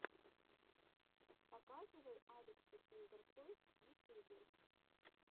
показывай алекса киндертойс в ютьюбе